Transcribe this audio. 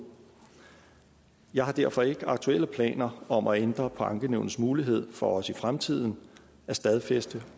jeg har derfor ikke aktuelle planer om at ændre på ankenævnets mulighed for også i fremtiden at stadfæste